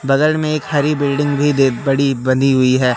बगल में एक हरी बिल्डिंग भी देख बड़ी बनी हुई है।